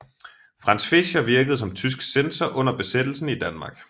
Franz Fischer virkede som tysk censor under Besættelsen i Danmark